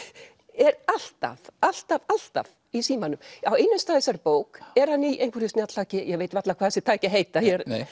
er alltaf alltaf alltaf í símanum á einum stað í þessari bók er hann í einhverju snjalltæki ég veit varla hvað þessi tæki heita